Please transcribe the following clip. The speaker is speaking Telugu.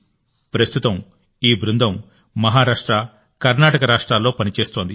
ప్రస్తుతం ఈ బృందం మహారాష్ట్ర కర్ణాటక రాష్ట్రాల్లో పని చేస్తోంది